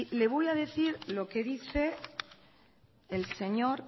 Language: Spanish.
le voy a decir lo que dice el señor